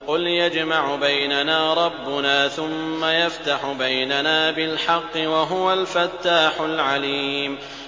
قُلْ يَجْمَعُ بَيْنَنَا رَبُّنَا ثُمَّ يَفْتَحُ بَيْنَنَا بِالْحَقِّ وَهُوَ الْفَتَّاحُ الْعَلِيمُ